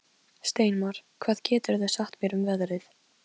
Steinmar, hvað geturðu sagt mér um veðrið?